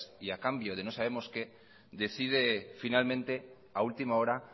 y a cambio de no sabemos qué decide finalmente a última hora